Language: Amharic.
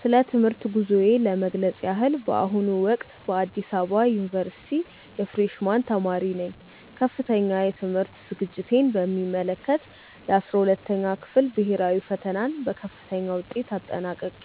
ስለ ትምህርት ጉዞዬ ለመግለጽ ያህል፣ በአሁኑ ወቅት በአዲስ አበባ ዩኒቨርሲቲ የፍሬሽ ማን ተማሪ ነኝ። ከፍተኛ የትምህርት ዝግጅቴን በሚመለከት፣ የ12ኛ ክፍል ብሄራዊ ፈተናን በከፍተኛ ውጤት አጠናቅቄ